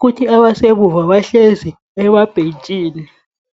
kuthi abasemuva bahlezi emabhentshini.